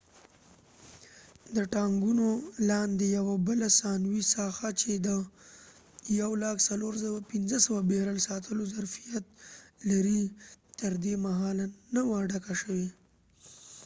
د ټانګونو لاندې یوه بله ثانوي ساحه چې د 104,500 بیرل ساتلو ظرفیت لري تر دې مهاله نه وه ډکه شوي